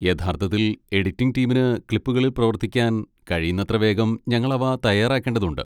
യഥാർത്ഥത്തിൽ, എഡിറ്റിംഗ് ടീമിന് ക്ലിപ്പുകളിൽ പ്രവർത്തിക്കാൻ, കഴിയുന്നത്ര വേഗം ഞങ്ങൾ അവ തയ്യാറാക്കേണ്ടതുണ്ട്.